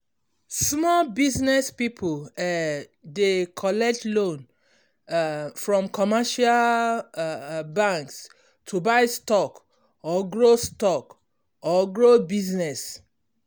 small business people um dey collect loan um from commercial um banks to buy stock or grow stock or grow business.